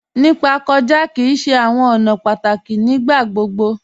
Nípa kọja kí í ṣè àwọn ọ̀nà pátákí nígbàgbogbo.